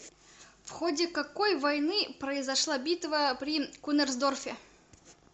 в ходе какой войны произошла битва при кунерсдорфе